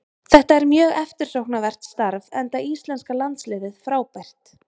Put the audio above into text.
Þetta er mjög eftirsóknarvert starf enda íslenska landsliðið frábært.